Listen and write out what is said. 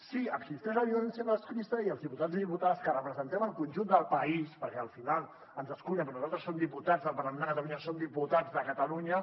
si existeix la violència masclista i els diputats i diputades que representem el conjunt del país perquè al final ens escullen però nosaltres som diputats del parlament de catalunya som diputats de catalunya